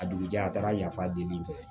A dugujɛ a taara yafa deli